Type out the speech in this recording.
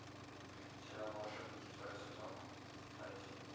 сериал волшебники второй сезон вторая серия